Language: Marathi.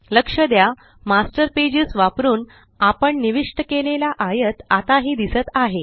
लक्ष द्या मास्टर पेजेस वापरुन आपण निविष्ट केलेला आयत आताही दिसत आहे